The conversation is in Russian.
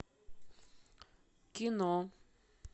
кино